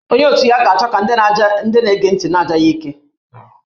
Onye otu ya ga-achọ ka ndị na-ege ntị na-aja ya ike